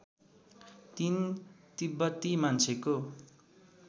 ३ तिब्बती मान्छेको